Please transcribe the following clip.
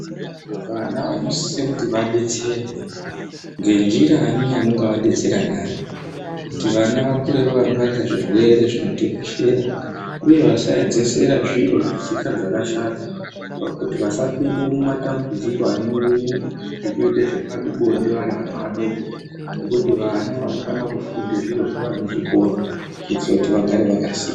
Vana vanosise kuti vadetserwe ngenjira inga yamunovadetsera nayo kuti vana vakure vakangwarira zvirwere zviN otekeshera uyevasaedzesera zviro zvetsika dzakashata kuti vasazopinde mumatambudziko anouya ngekuite zvepabonde vari vana vadoko ngekuti vana vanofane kufunde zvirozvo vari muzvikora kuitire kuti vagare vakaziya.